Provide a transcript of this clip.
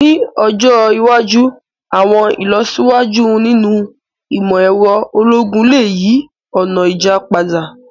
Ni ọjọ iwaju, àwọn ilọsiwaju ninu imọ-ẹrọ ologun le yi ọna ija pada.